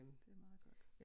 Det er meget godt